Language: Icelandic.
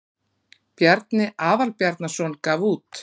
bjarni aðalbjarnarson gaf út